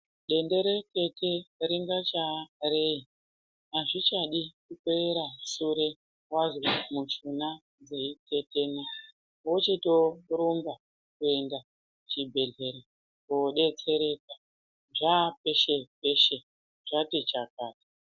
Denderekete ringaa chaa rei azvichadi kera shure wazwe mishuna dzeitetena wochititorumba kuenda chibhedhlera kodetsereka zvaapeshe peshe zvati chakata.